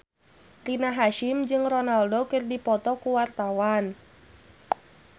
Rina Hasyim jeung Ronaldo keur dipoto ku wartawan